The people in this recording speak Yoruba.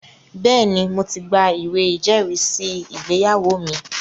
Bẹ́ẹ̀ni, mo ti gba ìwé ìjẹ́rìísí ìgbéyàwó mi